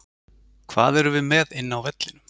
Hvað erum við með inni á vellinum?